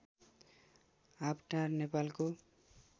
आँपटार नेपालको